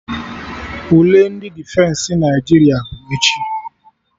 Ule ndị Defensị Naịjirịa bụ echi